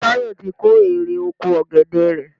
Táyọ̀ ti kó erè oko ọ̀gẹ̀dè rẹ̀.